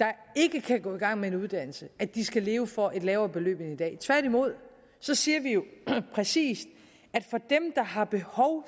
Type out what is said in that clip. der ikke kan gå i gang med en uddannelse at de skal leve for et lavere beløb end i dag tværtimod siger vi jo præcis at dem der har behov